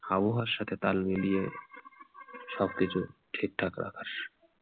আবহাওয়ার সাথে তাল মিলিয়ে সবকিছু ঠিকঠাক রাখার।